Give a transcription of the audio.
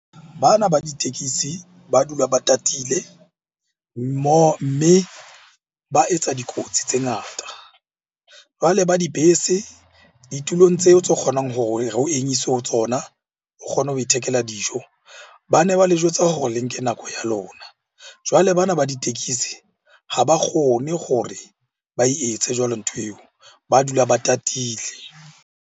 Bana ba ditekisi ba dula ba tatile mme ba etsa dikotsi tse ngata. Jwale ba dibese ditulong tseo tse kgonang hore ho emiswe ho tsona o kgone ho ithekela dijo, ba ne ba le jwetsa hore le nke nako ya lona. Jwale bana ba ditekesi ha ba kgone gore ba e etse jwalo ntho eo. Ba dula ba tatile.